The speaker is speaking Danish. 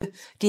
DR P1